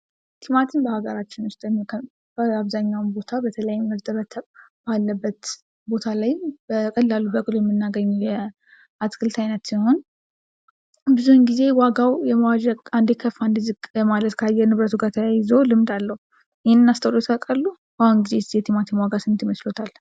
ቲማቲም በሃገራችን ዉስጥ አብዘሃኛውን ቦታ በተለይ እርጥበት ባለበት ቦታ ላይም በቀላሉ በቅሎ የምናገኘው የአትክልት አይነት ሲሆን ብዙውን ጊዜ ዋጋው የመዋዠቅ አንደየ ከፍ አንደ ዝቅ የማለት ካየር ንብረቱ ይዞ ልምድ አለው። ይህንን አስተውለውት ያውቃሉ? በአሁኑ ጊዜስ የቲማቲም ዋጋ ስንት ይመስለወታል?